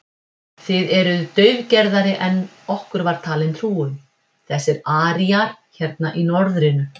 Þið eruð daufgerðari en okkur var talin trú um, þessir aríar hérna í norðrinu.